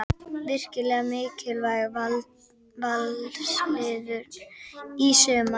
Virkilega mikilvæg Valsliðinu í sumar.